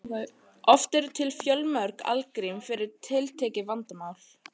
Oft eru til fjölmörg algrím fyrir tiltekið vandamál.